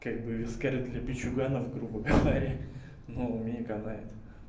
как бы виски для опустившихся грубо говоря но мне пойдёт